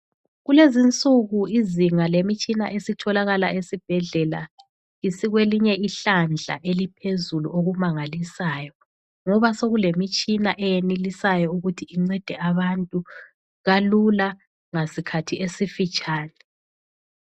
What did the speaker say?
Kulezinsuku izinga lemitshina esitholakala esibhedlela isikwelinye ihlandla eliphezulu okumangalisayo ngoba sokulemitshina eyenelisayo ukuthi incede abantu kalula ngasikhathi esifitshane.